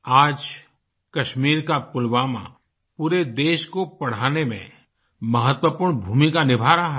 आज कश्मीर का पुलवामा पूरे देश को पढ़ाने में महत्वपूर्ण भूमिका निभा रहा है